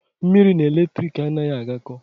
Mmiri na eletrik anaghị agakọ.